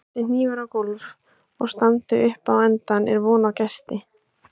Detti hnífur á gólf og standi upp á endann er von á gesti.